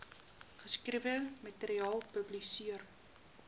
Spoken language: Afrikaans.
geskrewe materiaal publiseer